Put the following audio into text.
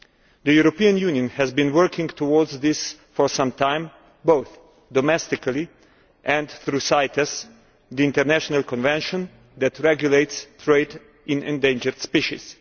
The European Union has been working towards this for some time, both domestically and through CITES, the international convention that regulates trade in endangered species.